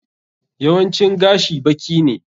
Yawancin gashi baki ne.